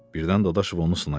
Birdən Dadaşov onu sınayar.